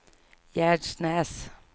Gärsnäs